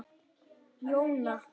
Jóna